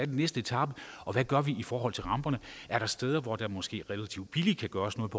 den næste etape og hvad gør vi i forhold til ramperne er der steder hvor der måske relativt billigt kan gøres noget